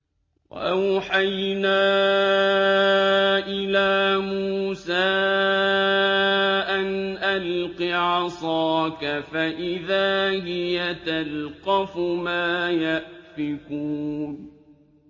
۞ وَأَوْحَيْنَا إِلَىٰ مُوسَىٰ أَنْ أَلْقِ عَصَاكَ ۖ فَإِذَا هِيَ تَلْقَفُ مَا يَأْفِكُونَ